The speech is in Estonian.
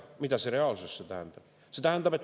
Mida see reaalsuses tähendab?